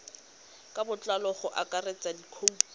ka botlalo go akaretsa dikhoutu